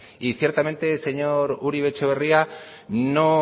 y ciertamente señor uribe etxebarria no